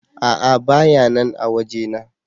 A'a bayanan a waje na.